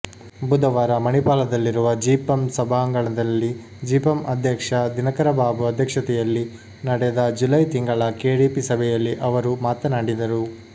ಬುಧವಾರ ಮಣಿಪಾಲದಲ್ಲಿರುವ ಜಿಪಂ ಸಭಾಂಗಣದಲ್ಲಿ ಜಿಪಂ ಅಧ್ಯಕ್ಷ ದಿನಕರಬಾಬು ಅಧ್ಯಕ್ಷತೆಯಲ್ಲಿ ನಡೆದ ಜುಲೈ ತಿಂಗಳ ಕೆಡಿಪಿ ಸಭೆಯಲ್ಲಿ ಅವರು ಮಾತನಾಡಿದರು